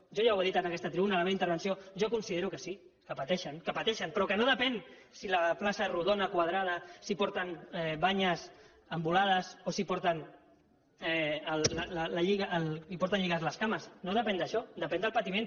jo ja ho he dit en aquesta tribuna en la meva intervenció jo considero que sí que pateixen que pateixen però que no depèn de si la plaça és rodona quadrada de si porten banyes embolades o si porten lligades les cames no depèn d’això depèn del patiment